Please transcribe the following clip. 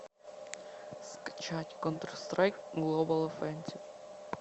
скачать контр страйк глобал оффенсив